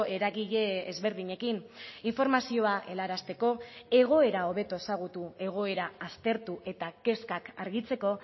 eragile ezberdinekin informazioa helarazteko egoera hobeto ezagutu egoera aztertu eta kezkak argitzeko